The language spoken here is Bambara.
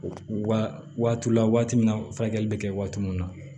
Wa waati la waati minna furakɛli bɛ kɛ waati min na